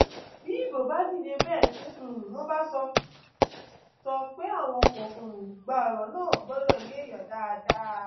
bí ibo bá dìde bẹẹ tí um wọn bá sọ bá sọ pé àwọn kò um gba ọrọ náà gbọdọ yéèyàn dáadáa